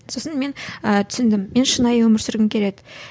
сосын мен ы түсіндім мен шынайы өмір сүргім келеді